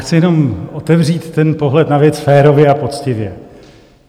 Chci jenom otevřít ten pohled na věc férově a poctivě.